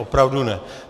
Opravdu ne.